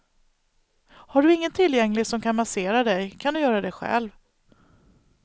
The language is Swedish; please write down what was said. Har du ingen tillgänglig som kan massera dig kan du göra det själv.